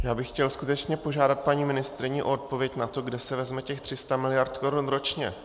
Já bych chtěl skutečně požádat paní ministryni o odpověď na to, kde se vezme těch 300 mld. korun ročně.